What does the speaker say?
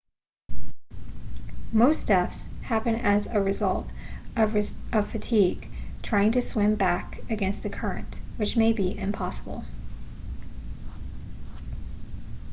most deaths happen as result of fatigue trying to swim back against the current which may be impossible